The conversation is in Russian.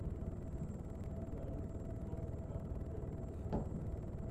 салют кто написал отелло